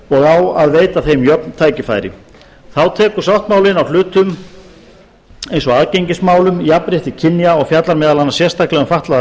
og á að veita þeim jöfn tækifæri þá tekur sáttmálinn á hlutum eins og aðgengismálum jafnrétti kynja og fjallar meðal annars sérstaklega um fatlaðar